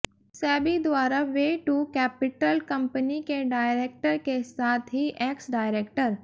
सेबी द्वारा way two capital company के director के साथ ही एक्स डायरेक्टर